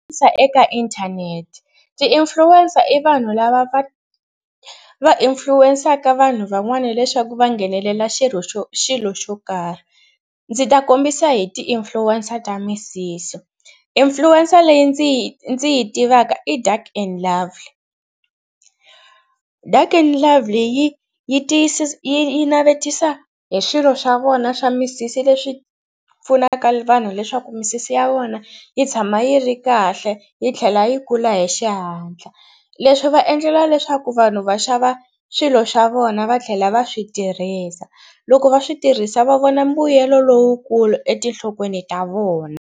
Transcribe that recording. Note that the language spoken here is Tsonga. eka inthanete ti-influencer i vanhu lava va va influence-aka vanhu van'wana leswaku va nghenelela xirho xo xilo xo karhi. Ndzi ta kombisa hi ti-influencer ta misisi. Influencer leyi ndzi yi ndzi yi tivaka i Dark 'N Lovely. Dark 'N Lovely yi yi yi navetisa hi swilo swa vona swa misisi leswi pfunaka vanhu leswaku misisi ya vona yi tshama yi ri kahle yi tlhela yi kula hi xihatla. Leswi va endlela leswaku vanhu va xava swilo xa vona va tlhela va swi tirhisa. Loko va swi tirhisa va vona mbuyelo lowukulu etinhlokweni ta vona.